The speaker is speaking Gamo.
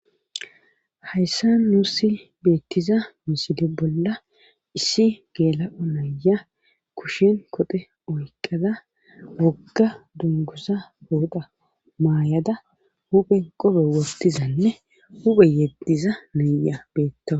Hayssan nussi beettiza misile bolla issi geela7o nayiya kushen koxe oyqqada wogga dunguza pooxa mayada huphe qobe wottizanne huphe yeddiza nayiya betawus.